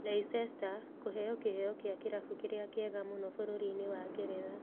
Leicester kũheo kĩheo kĩa kĩrabu kĩrĩa kĩega mũno bũrũriinĩ wa Ngeretha